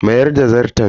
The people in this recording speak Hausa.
Mayar da Zarton.